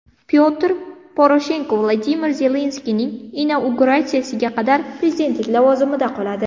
Pyotr Poroshenko Vladimir Zelenskiyning inauguratsiyasiga qadar prezidentlik lavozimida qoladi.